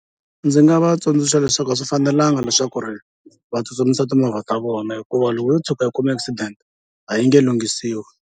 Ndzi nga va tsundzuxa leswaku a swi fanelanga leswaku ri va tsutsumisa timovha ta vona hikuva loko yo tshuka yi kuma accident a yi nge lunghisiwi.